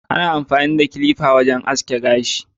Ana amfani da kilifa wurin aske gashi.